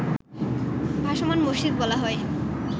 ভাসমান মসজিদ বলা হয়